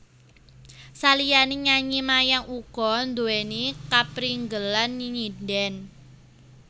Saliyane nyanyi Mayang uga nduweni kaprigelan nyindhen